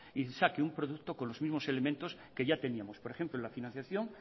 y que saque un producto con los elementos que ya teníamos por ejemplo en la financiación